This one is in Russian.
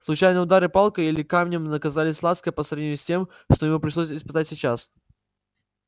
случайные удары палкой или камнем казались лаской по сравнению с тем что ему пришлось испытать сейчас